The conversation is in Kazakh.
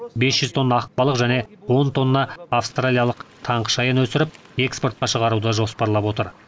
бес жүз тонна ақ балық және он тонна австралиялық таңқышаян өсіріп экспортқа шығаруды жоспарлап отыр